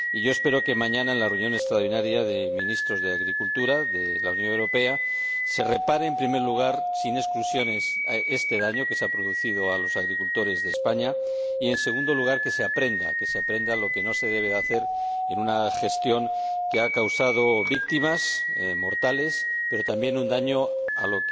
Espero que mañana, en la reunión extraordinaria de Ministros de Agricultura de la Unión Europea, se repare, en primer lugar, sin exclusiones, este daño que se ha ocasionado a los agricultores de España y, en segundo lugar, que se aprenda que se aprenda lo que no se debe hacer en una situación que ha causado víctimas mortales, pero también un daño a